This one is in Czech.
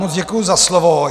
Moc děkuji za slovo.